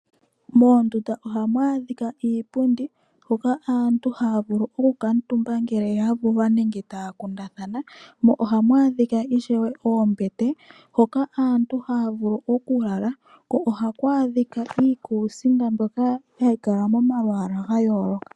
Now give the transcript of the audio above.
Moondunda ohamu adhika iipundi huka aantu haya vulu oku kuutumba ngele ya vulwa nenge taya kundathana, mo ohamj adhika ishewe oombete hoka aantu haya vulu oku lala, ko ohaku adhika iikusinga mbyoka hayi kala mo malwaala ga yooloka.